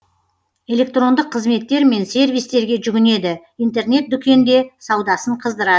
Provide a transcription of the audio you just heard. электрондық қызметтер мен сервистерге жүгінеді интернет дүкенде саудасын қыздырады